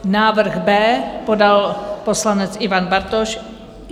Návrh B podal poslanec Ivan Bartoš.